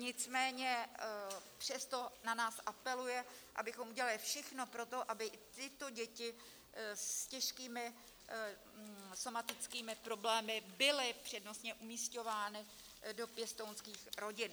Nicméně přesto na nás apeluje, abychom udělali všechno pro to, aby tyto děti s těžkými somatickými problémy byly přednostně umísťovány do pěstounských rodin.